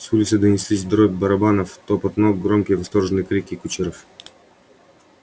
с улицы донеслись дробь барабанов топот ног громкие восторженные крики кучеров